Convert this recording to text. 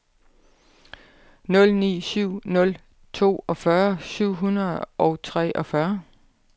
nul ni syv nul toogfyrre syv hundrede og treogfyrre